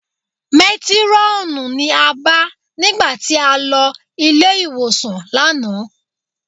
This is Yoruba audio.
Métírọ́ọ̀nù ni a bá nígbà tí a lọ ilé-ìwòsàn lánàá